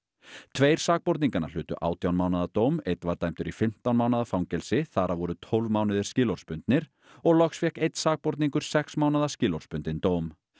tveir sakborninganna hlutu átján mánaða dóm einn var dæmdur í fimmtán mánaða fangelsi þar af voru tólf mánuðir skilorðsbundnir og loks fékk einn sakborningur sex mánaða skilorðsbundinn dóm